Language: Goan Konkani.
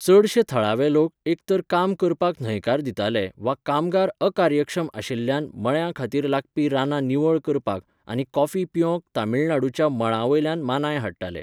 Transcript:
चडशे थळावे लोक एक तर काम करपाक न्हयकार दिताले वा कामगार अकार्यक्षम आशिल्ल्यान मळ्यां खातीर लागपी रानां निवळ करपाक आनी कॉफी पिकोवंक तमिळनाडूच्या मळां वयल्यान मानांय हाडटाले.